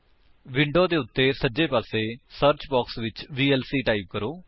window ਦੇ ਉੱਤੇ ਸੱਜੇ ਪਾਸੇ ਸਰਚ ਬਾਕਸ ਵਿੱਚ ਵੀਐਲਸੀ ਟਾਈਪ ਕਰੋ